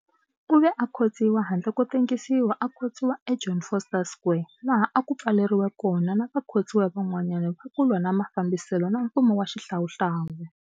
U ve a khotsiwa handle ko tengisiwa a khotsiwa eJohn Vorster Square laha a ku pfaleriwe kona na vakhotsiwa van'wana va ku lwa na mafambiselo na mfumo wa xihlawuhlawu.